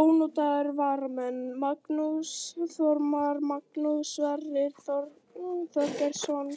Ónotaðir varamenn: Magnús Þormar, Magnús Sverrir Þorsteinsson,